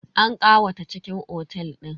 An ƙawata cikin otel din.